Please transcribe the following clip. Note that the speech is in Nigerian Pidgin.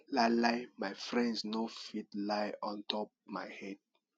lie lie my friends no fit lie ontop my head